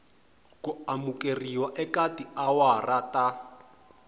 ku amukeriwa eka tiawara ta